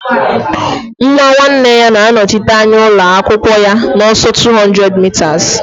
Nwa nwanne ya na-anọchite anya ụlọ akwụkwọ ya n'ọsọ 200m